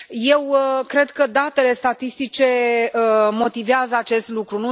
Eu cred că datele statistice motivează acest lucru.